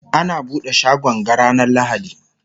ana buɗe shagon ga ranar lahadi